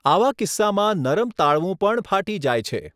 આવા કિસ્સામાં નરમ તાળવું પણ ફાટી જાય છે.